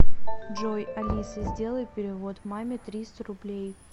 джой алиса сделай перевод маме триста рублей